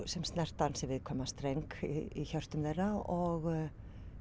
sem snerta viðkvæman streng í hjarta þeirra og